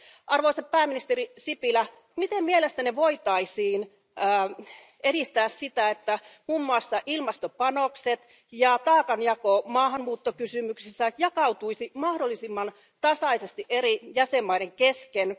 Arvoisa pääministeri Sipilä, miten mielestänne voitaisiin edistää sitä, että muun muassa ilmastopanokset ja taakanjako maahanmuuttokysymyksissä jakautuisivat mahdollisimman tasaisesti eri jäsenmaiden kesken?